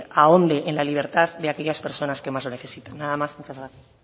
ahonde en la libertad de aquellas personas que más lo necesitan nada más muchas gracias